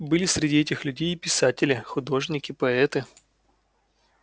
были среди этих людей и писатели художники поэты